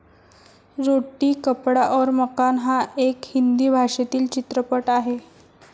रोटी कपडा और मकान हा एक हिंदी भाषेतील चित्रपट आहे.